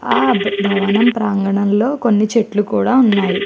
హా భావన ప్రగానము లో కొన్ని చ్గెట్లు కూడా ఉనాయ్.